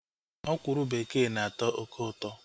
Ọkwụrụ bekee na-atọ oké ụtọ